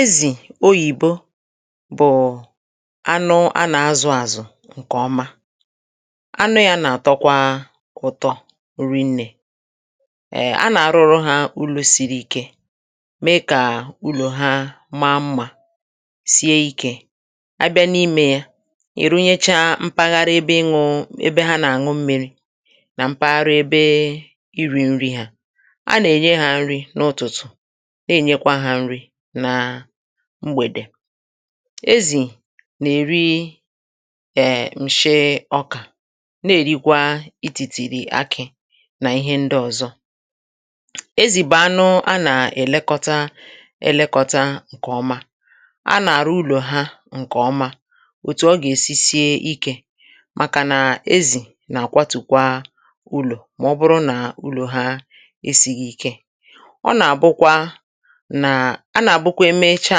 Ezì oyìbo bụ̀ anụ a nà azụ̇ àzụ̀ ǹkè ọma, anụ yȧ nà-àtọkwa ụ̀tọ riinė, ee a nà-arụrụ hȧ ụlọ̇ siri ikė mee kà ụlọ̀ ha maa mmȧ, sie ikė a bịa n’imė ya ị̀ runyecha mpaghara ebe ñu ebe ha nà-àñụ mmi̇ri nà mpaghara ebe iri̇ nri ha, a nà-ènye hȧ nri n’ụ̀tụ̀tụ̀ na-ènyekwa hȧ nrị̇ na mgbèdè. Ezì nà-èri èm̀ nshi ọkà na-èrikwa itìtìrì akị̇ nà ihe ndị ọ̀zọ, ezì bà anụ a nà-èlekọta èlekọta ǹkèọma, a nà-àru ụlọ̀ ha ǹkè ọma, òtù ọ gà-èsi sie ikė màkà nà ezì nà-àkwatùkwa ụlọ̀ mà ọ bụrụ nà ụlọ̀ ha esighi ike. ọ nà-àbụkwa nà a nà-àbụkwa eme echa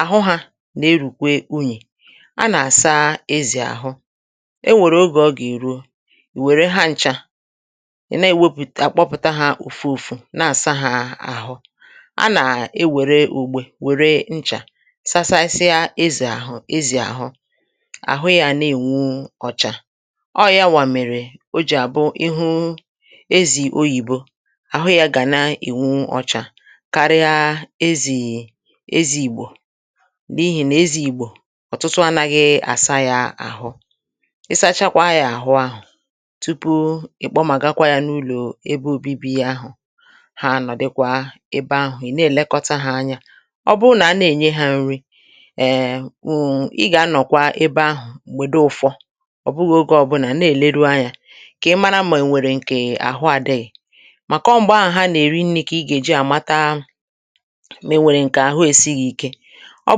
àhụ hȧ nà-erùkwe unyì, a nà-àsa ezì àhụ, e nwèrè ogè ọ gà-èruo, ì wère hancha i na-èwepụ̀ta akpọpụta ha ùfụ̇ ùfụ̇ na-àsa ha àhụ, a nà e wère ùgbè wère nchà sasasịa ezì àhụ ezì àhụ, àhụ ya ana-ènwu ọ̀chà. ọọ ya wà mèrè o jì àbụ ịhụ ezì oyìbo, àhụ ya gà na-ènwu ọchà karịa ezì ezì ìgbò, n’ihì nà ezì ìgbò ọ̀tụtụ anaghị̇ àsa ya àhụ, ị sachakwa yȧ àhụ ahụ̀ tupu i kpọmàgakwa yȧ n’ụlọ̀ ebe obibi yȧ ahụ̀, ha nọ̀ dịkwȧ ebe ahụ̀ ị̀ na-èlekọta hȧ anya. O bụru nà a na-ènye hȧ nrị, (um)èèè wụ̀um ị gà-anọ̀kwa ebe ahụ̀ m̀gbè du ụ̇fọ̇ ọ̀ bụghị̇ ogė ọbụnà na-èleru anyȧ, kà ị mara mà ènwèrè ǹkè àhụ àdịghị̀ mà kọọ m̀gbọ àhụ̀ ha nà-èri nni̇ kà ị gà-èji àmata ma enwere nke ahụ esighi ike, ọ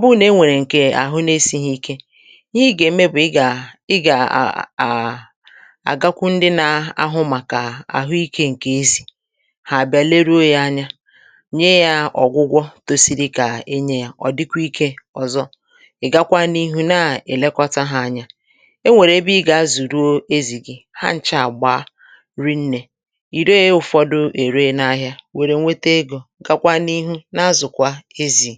bụrụ nà e nwèrè ǹkè àhụ n’esi̇ghi̇ ike, ihe i̇ gà-ème bụ̀ ị gà ị gà-à à àgakwu ndị nȧ-ahụ màkà àhụ ikė ǹkè ezì, hà àbịa leruo yȧ anya, nye yȧ ọ̀gwụgwọ tosi̇ri̇ kà enyė yȧ, ọ̀ dịkwa ikė ọ̀zọ, ị̀ gakwa n’ihu na-èlekọta hȧ anya, e nwèrè ebe ị gà-azùru ezì gi̇ ha nchà àgba rinnè, ì ree ụ̀fọdụ è ree n’ahịa wèrè nweta egȯ, gwakwa n'ihu na-azukwa ézì.